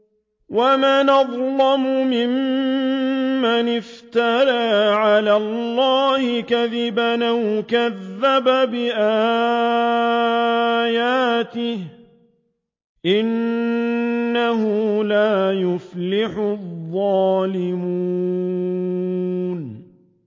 وَمَنْ أَظْلَمُ مِمَّنِ افْتَرَىٰ عَلَى اللَّهِ كَذِبًا أَوْ كَذَّبَ بِآيَاتِهِ ۗ إِنَّهُ لَا يُفْلِحُ الظَّالِمُونَ